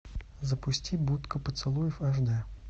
запусти будка поцелуев аш д